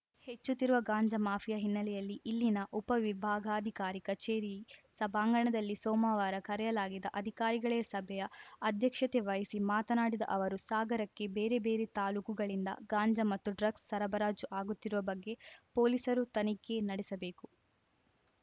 ಹೆಚ್ಚುತ್ತಿರುವ ಗಾಂಜಾ ಮಾಫಿಯಾ ಹಿನ್ನೆಲೆಯಲ್ಲಿ ಇಲ್ಲಿನ ಉಪವಿಭಾಗಾಧಿಕಾರಿ ಕಚೇರಿ ಸಭಾಂಗಣದಲ್ಲಿ ಸೋಮವಾರ ಕರೆಯಲಾಗಿದ್ದ ಅಧಿಕಾರಿಗಳೇ ಸಭೆಯ ಅಧ್ಯಕ್ಷತೆ ವಹಿಸಿ ಮಾತನಾಡಿದ ಅವರು ಸಾಗರಕ್ಕೆ ಬೇರೆಬೇರೆ ತಾಲೂಕುಗಳಿಂದ ಗಾಂಜಾ ಮತ್ತು ಡ್ರಗ್ಸ್‌ ಸರಬರಾಜು ಆಗುತ್ತಿರುವ ಬಗ್ಗೆ ಪೊಲೀಸರು ತನಿಖೆ ನಡೆಸಬೇಕು